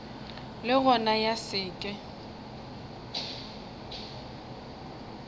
le gona ya se ke